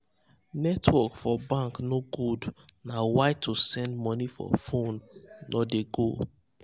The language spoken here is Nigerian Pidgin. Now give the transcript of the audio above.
netwrok for bank no good na why to send money for fone no de go